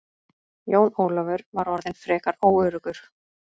Jón Ólafur var orðinn frekar óöruggur.